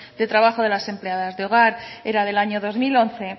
de trabajo de la empleadas de hogar era del año dos mil once